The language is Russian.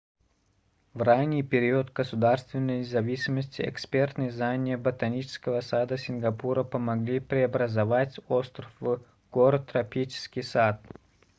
в ранний период государственной независимости экспертные знания ботанического сада сингапура помогли преобразовать остров в город-тропический сад